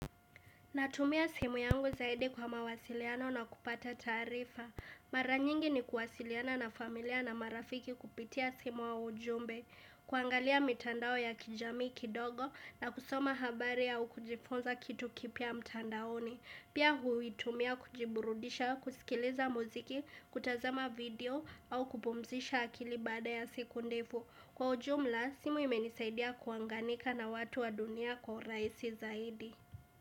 Natumia simu yangu zaidi kwa mawasiliano na kupata tarifa. Mara nyingi ni kuwasiliana na familia na marafiki kupitia simu au ujumbe. Kuangalia mitandao ya kijamii kidogo na kusoma habari au kujifunza kitu kipya mtandaoni. Pia huitumia kujiburudisha, kusikiliza muziki, kutazama video au kupumzisha akili baada ya siku ndefu. Kwa ujumla, simu imenisaidia kuanganika na watu wa dunia kwa urahisi zaidi.